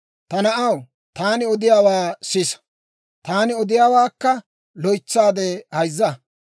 Ta na'aw, taani odiyaawaa sisa; taani odiyaawaakka loytsaade hayzza.